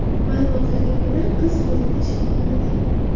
Ma’lumotlarga ko‘ra, qiz hozirda shifoxonada.